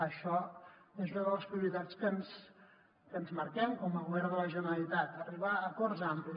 això és una de les prioritats que ens marquem com a govern de la generalitat arribar a acords amplis